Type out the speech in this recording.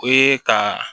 O ye ka